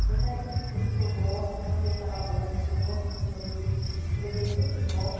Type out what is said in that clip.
Apesar de que que eu gosto, tenho uma clientela boa, as pessoas gostam dos meus produtos, os fregueses sempre voltam.